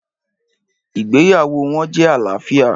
Ìgbéyàwó wọn jẹ́ àlàáfíà.